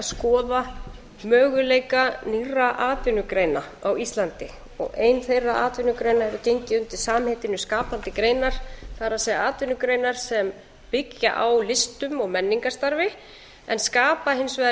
skoða möguleika nýrra atvinnugreina á íslandi ein þeirra atvinnugreina hefur gengið undir samheitinu skapandi greinar það er atvinnugreinar sem byggja á listum og menningarstarfi en skapa hins vegar